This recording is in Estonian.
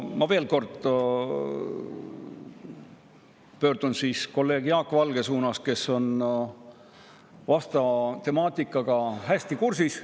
Ma veel kord pöördun kolleeg Jaak Valge poole, tema on vastava temaatikaga hästi kursis.